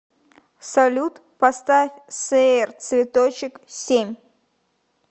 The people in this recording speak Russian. салют поставь сэйр цветочек семь